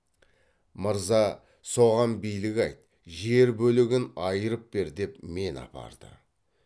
мырза соған билік айт жер бөлігін айырып бер деп мені апарды